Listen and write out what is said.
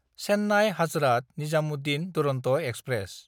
Chennai-Hazrat Nizamuddin Duronto express